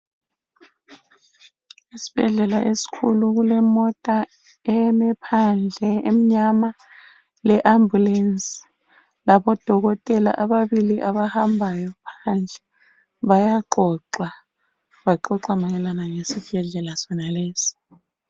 Isibhedlela esikhulu kulemota eme phandle emnyama leAmbulancy labodokotela ababili abahambayo phandle bayaqoqa baqoqa mayelana lesibhedlela sonalesi.